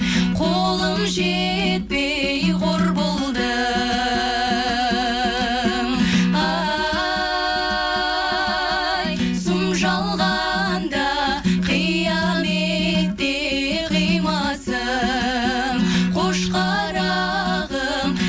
қолым жетпей қор болдым ай сұм жалғанда қияметке қимасым қош қарағым